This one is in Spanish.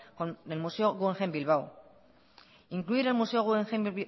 del museo guggenheim bilbao incluir el museo guggenheim